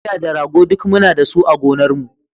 Akuya da rago duk muna da su a gonarmu.